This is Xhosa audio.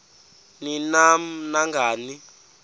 ni nam nangani